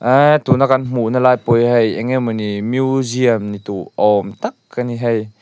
eee tuna kan hmuhna lai pawh hi hei eng emawni museum ni duh awm tak a ni hei.